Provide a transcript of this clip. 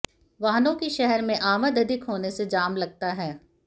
वाहनों की शहर में आमद अधिक होने से जाम लगता है